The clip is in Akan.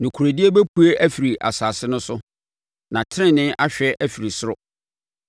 Nokorɛdie bɛpue afiri asase no so, na tenenee ahwɛ afiri soro.